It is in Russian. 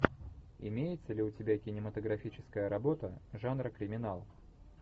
имеется ли у тебя кинематографическая работа жанра криминал